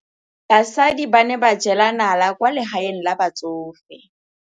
Basadi ba ne ba jela nala kwaa legaeng la batsofe.